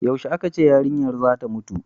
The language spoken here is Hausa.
yaushe a ka ce yarinyar zata mutu